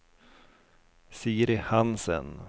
Siri Hansen